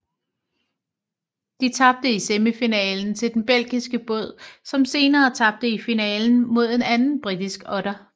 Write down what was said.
De tabte i semifinalen til den belgiske båd som senere tabte i finalen mod en anden britisk otter